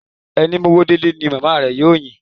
Ẹni mówó délé ni màmá rẹ̀ yóò yìn.